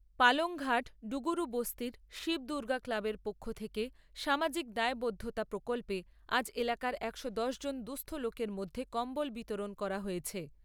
পালংঘাট ডুগুরুবস্তীর শিব দুর্গা ক্লাবের পক্ষ থেকে সামাজিক দায়বদ্ধতা প্রকল্পে আজ এলাকার একশো দশ জন দুঃস্থ লোকের মধ্যে কম্বল বিতরণ করা হয়েছে।